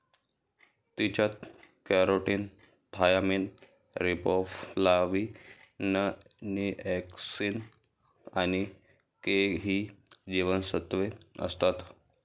तिच्यात carotene, thiamine, riboflavin niacin आणि K ही जीवनसत्वे असतात.